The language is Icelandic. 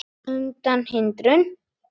undan hindrun